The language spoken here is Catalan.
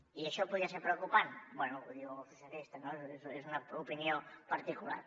i això podria ser preocupant bé ho diuen els socialistes no és una opinió particular